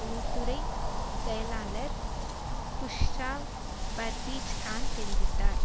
உள்துறை செயலாளர் குஷ்ராவ் பர்வீஜ் கான் தெரிவித்தார்